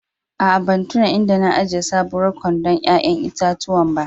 Aa, ban tunna inda na ajia sabowar kwandon yayan itatuwan ba.